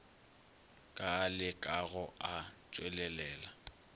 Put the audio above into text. ka a lekago a tšwelelela